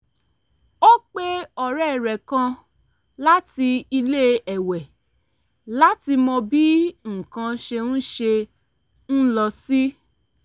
ó pe ọ̀rẹ́ rẹ̀ kan láti ilé-èwé láti mọ bí nǹkan ṣe ń ṣe ń lọ sí